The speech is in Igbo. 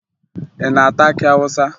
Ị na-ata akị Awụsa?